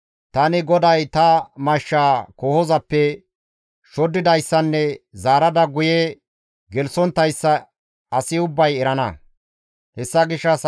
Tani GODAY ta mashshaa kohozappe shoddidayssanne zaarada guye koohon guye gelththonttayssa asi ubbay erana.›